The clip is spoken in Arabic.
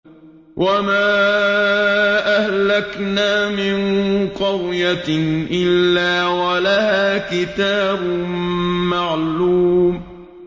وَمَا أَهْلَكْنَا مِن قَرْيَةٍ إِلَّا وَلَهَا كِتَابٌ مَّعْلُومٌ